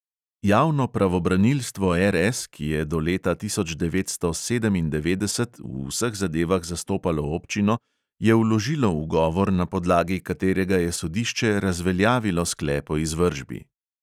Javno pravobranilstvo RS, ki je do leta tisoč devetsto sedemindevetdeset v vseh zadevah zastopalo občino, je vložilo ugovor, na podlagi katerega je sodišče razveljavilo sklep o izvršbi.